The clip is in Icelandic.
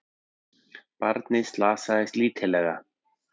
Barnið slasaðist lítillega